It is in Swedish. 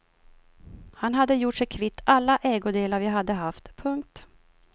Han hade gjort sig kvitt alla ägodelar vi hade haft. punkt